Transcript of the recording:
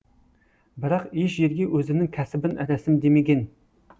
бірақ еш жерге өзінің кәсібін рәсімдемеген